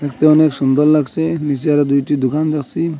দেখতে অনেক সুন্দর লাগসে নীসে আরো দুইটি দুকান দেখসি।